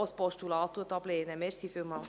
Dies ist auch im Sinne des Regierungsrates.